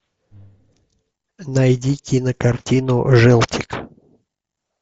найди кинокартину желтик